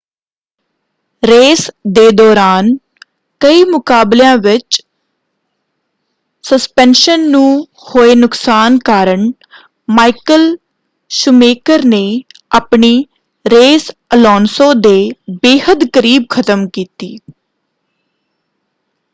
Race ਦੇ ਦੌਰਾਨ ਕਈ ਮੁਕਾਬਲਿਆਂ ਵਿੱਚ ਸਸਪੈਂਸ਼ਨ ਨੂੰ ਹੋਏ ਨੁਕਸਾਨ ਕਾਰਨ ਮਾਈਕਲ ਸ਼ੂਮੇਕਰ ਨੇ ਆਪਣੀ ਰੇਸ ਅਲੋਨਸੋ ਦੇ ਬੇਹੱਦ ਕਰੀਬ ਖ਼ਤਮ ਕੀਤੀ।